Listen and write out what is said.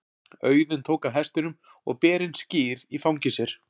Auðunn tók af hestinum og ber inn skyr í fangi sér.